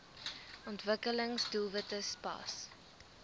ontwikkelings doelwitte spas